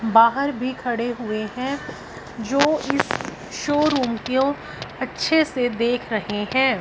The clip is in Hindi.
बाहर भी खड़े हुए हैं जो इस शोरूम को अच्छे से देख रहे हैं।